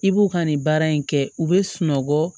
I b'u ka nin baara in kɛ u be sunɔgɔ